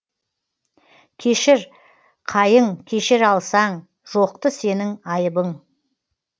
кешір қайың кешіре алсаң жоқты сенің айыбың